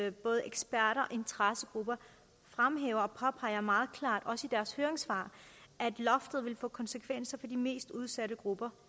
at både eksperter og interessegrupper fremhæver og påpeger meget klart også i deres høringssvar at loftet vil få konsekvenser for de mest udsatte grupper